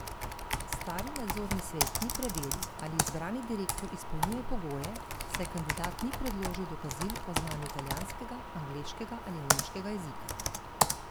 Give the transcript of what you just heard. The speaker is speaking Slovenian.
Stari nadzorni svet ni preveril, ali izbrani direktor izpolnjuje pogoje, saj kandidat ni predložil dokazil o znanju italijanskega, angleškega ali nemškega jezika.